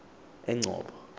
engcobo